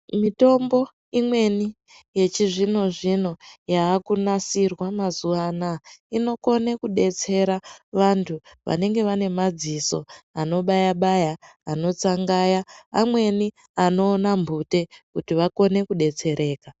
Mitombo imweni yechizvino- zvino yaakunasirwa mazuwa anaa inokone kudetsera vanthu vanenge vane madziso anobaya-baya, anotsangaya, amweni anoona mphute kuti vakone kudetsereka.